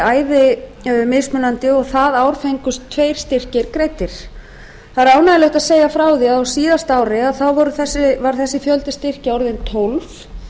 æði mismunandi og það ár fengust tveir styrkir greiddir það er ánægjulegt að segja frá því að á síðasta ári var þessi fjöldi styrkja orðinn tólf